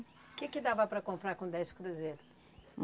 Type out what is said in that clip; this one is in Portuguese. O que que dava para comprar com dez cruzeiro?